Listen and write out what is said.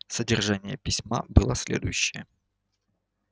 содержание письма было следующее